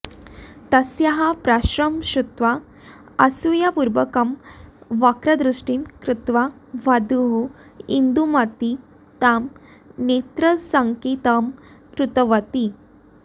तस्याः प्रश्नं श्रुत्वा असूयापूर्वकं वक्रदृष्टिं कृत्वा वधूः इन्दूमती ताम् नेत्रसङ्केतं कृतवती